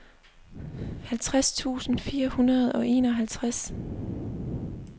halvtreds tusind fire hundrede og enoghalvtreds